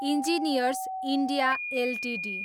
engineers India Ltd